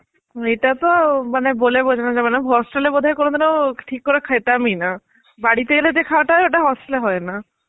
এটা তো মানে বলে বোঝানো যাবে না. hostel এ বোধহয় কোনদিন ঠিক করে খেতামই না. বাড়িতে এলে যে খাওয়াটা হয় ওটা hostel এ হয় না.